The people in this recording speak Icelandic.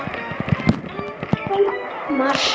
En þeir tímar!